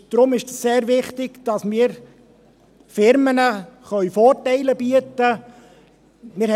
Es ist deshalb sehr wichtig, dass wir Unternehmen Vorteile bieten können.